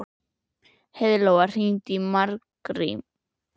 Heiðlóa, hringdu í Margrím.